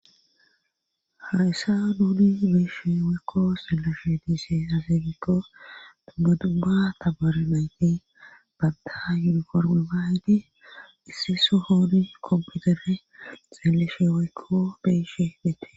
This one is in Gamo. harysaduudi beeshe weekko seleshe diise haseegikko buduba taborenayti babda yudu korgi baaydi issiso hoodi komputere xeelleshe weekko beshe dette